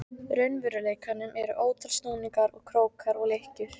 raunveruleikanum eru ótal snúningar og krókar og lykkjur.